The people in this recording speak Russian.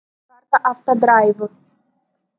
карта автодрайвов